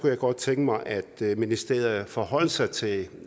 jeg godt tænke mig at ministeriet forholdt sig til